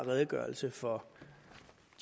redegørelse for